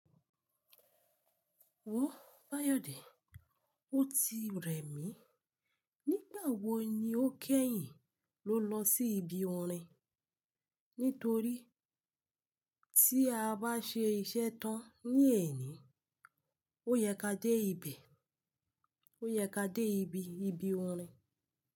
Wo Báyọ̀dé, ó ti rẹ̀ mí. Nígbà wo ni ó kẹ́yìn ló lọ sí ibi orin? Nítorí tí a bá ṣe iṣẹ́ tán ní ẹ̀ní, ó yẹ ká dé ìbìe, ó yẹ ká dé ìbí ibi orin.